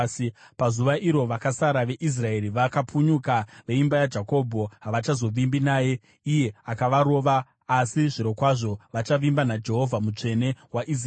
Pazuva iro vakasara veIsraeri, vakapunyuka veimba yaJakobho, havachazovimbi naye iye akavarova, asi zvirokwazvo vachavimba naJehovha, Mutsvene waIsraeri.